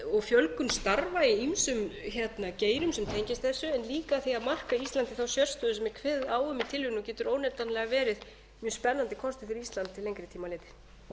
og fjölgun starfa í ýmsum geirum sem tengjast þessu en líka af því að marka íslandi þá sérstöðu sem er kveðið á um í tillögunni og